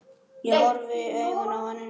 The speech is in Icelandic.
Og horfi í augun á henni.